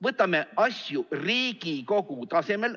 Võtame asju Riigikogu tasemel!